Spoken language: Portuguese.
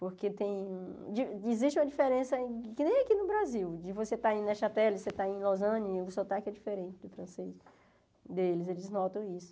Porque tem di existe uma diferença, que nem aqui no Brasil, de você estar em Nechateli, você estar em Lausanne, o sotaque é diferente do francês deles, eles notam isso.